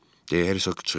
- de Hersoq çığırdı.